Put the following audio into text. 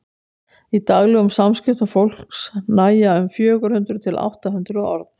í daglegum samskiptum fólks nægja um fjögur hundruð til átta hundruð orð